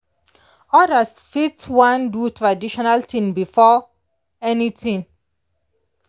others fit wan do traditional things before anything.